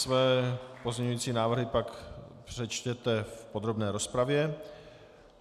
Své pozměňovací návrhy pak přečtěte v podrobné rozpravě.